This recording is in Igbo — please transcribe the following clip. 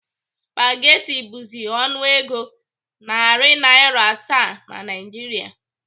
Spageti bụzi ọnụego nari Naira asaa na Naịjiria.